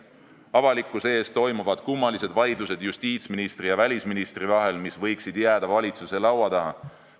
Avalikkuse ees toimuvad kummalised vaidlused justiitsministri ja välisministri vahel, mis oleksid võinud jääda valitsuse laua taha.